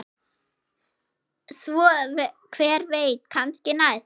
Svo hver veit, kannski næst?